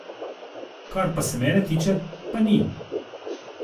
Kar se pa mene tiče, pa ni.